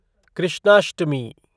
Krishnashtami